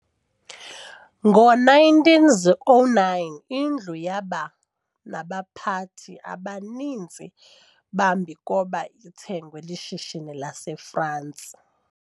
ngo 1909 indlu yaba naba pathi abaninsi bambikoba ithengwe lishishini lase France